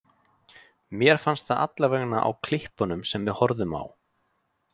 Mér fannst það allavega á klippunum sem við horfðum á.